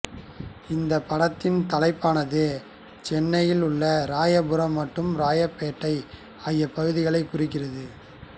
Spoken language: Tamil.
இந்தப் படத்தின் தலைப்பானது சென்னையில் உள்ள ராயபுரம் மற்றும் ராயப்பேட்டை ஆகிய பகுதிகளைக் குறிக்கிறது